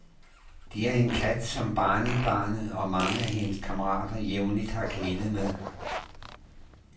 Det er en kat, som barnebarnet og mange af hendes kammerater jævnligt har kælet med.